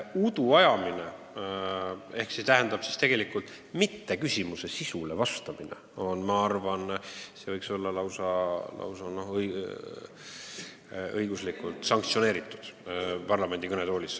Parlamendi kõnetoolis, rahvaesinduse ruumis udu ajamine ehk siis küsimusele sisuliselt vastamata jätmine võiks olla lausa õiguslikult sanktsioneeritud.